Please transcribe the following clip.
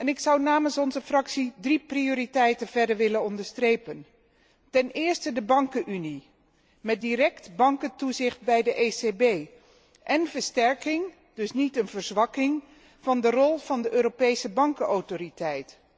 Ik zou namens onze fractie verder drie prioriteiten willen onderstrepen. Ten eerste, de bankunie, met direct bankentoezicht bij de ECB en versterking, dus niet een verzwakking, van de rol van de Europese Bankenautoriteit.